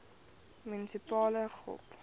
munisipale gop